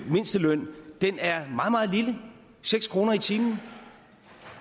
mindsteløn er meget meget lille seks kroner i timen